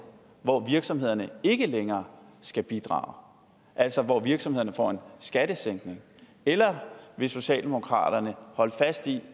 hvor virksomhederne ikke længere skal bidrage altså hvor virksomhederne får en skattesænkning eller vil socialdemokratiet holde fast i